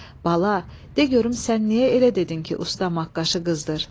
Bala, de görüm sən niyə elə dedin ki, usta maqqaşı qızdır?